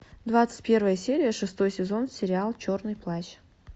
двадцать первая серия шестой сезон сериал черный плащ